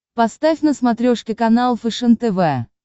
поставь на смотрешке канал фэшен тв